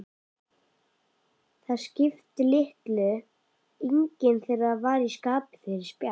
Það skipti litlu, enginn þeirra var í skapi fyrir spjall.